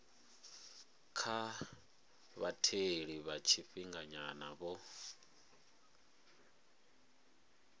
kha vhatheli vha tshifhinganyana vho